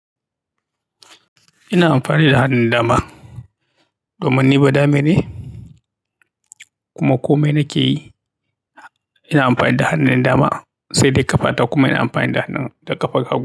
Ina amfani da hannun dama domin ni badame ne kuma komai nakeyi ina amfani da hannun dama, sai dai ƙafa, ta kuma ina amfani da ƙafar hagu.